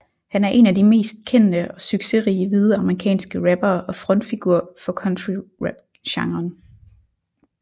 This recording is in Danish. Han er en af de mest kendte og succerige hvide amerikanske rappere og frontfigur for countryrapgenren